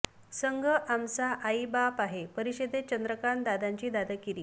संघ आमचा आई बाप आहे परिषदेत चंद्रकांत दादांची दादागिरी